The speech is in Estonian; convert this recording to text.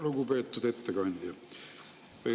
Lugupeetud ettekandja!